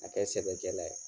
Ka kɛ sɛbɛkɛla ye.